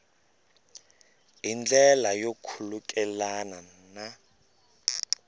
hi ndlela yo khulukelana na